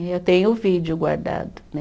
Eu tenho o vídeo guardado, né?